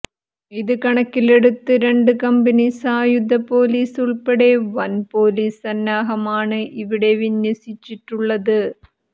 ഇത് കണക്കിലെടുത്ത് രണ്ടു കമ്പനി സായുധ പൊലീസ് ഉള്പ്പെടെ വന് പൊലീസ് സന്നാഹമാണ് ഇവിടെ വിന്യസിച്ചിട്ടുള്ളത്